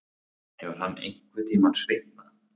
Hefur hann einhverntímann svitnað?